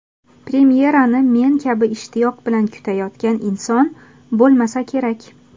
Premyerani men kabi ishtiyoq bilan kutayotgan inson bo‘lmasa kerak.